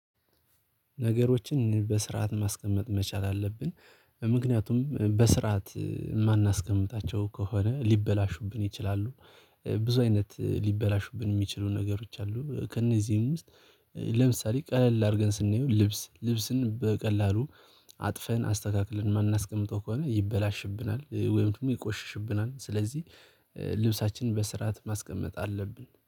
ነገሮችን በስርዓት ማስቀመጥ መቻል አለብን። ምክንያቱም በስርዓት የማናስቀምጣቸው ከሆነ ሊበላሹብን ይችላሉ። ብዙ አይነት ሊበላሹብን የሚችሉ ነገሮች አሉ ከእነዚህም ውስጥ። ለምሳሌ ቀለል አድርገን ስንየው ልብስ ልብስን በቀላሉ አጥፈን አስተካክለን የማናስቀምጠው ከሆነ ይበላሽብናል። ወይም ደግሞ ይቆሽሽብናል። ስለዚህ ልብሳችንን በስርዓት ማስቀመጥ አለብን